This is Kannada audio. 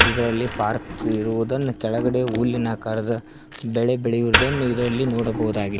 ಇದರಲ್ಲಿ ಪಾರ್ಕ್ ಇರುವುದನ್ನು ಕೆಳಗಡೆ ಹುಲ್ಲಿನ ಆಕಾರದ ಬೆಳೆ ಬೆಳೆಯುವುದನ್ನು ಇದರಲ್ಲಿ ನೋಡಬಹುದಾಗಿ--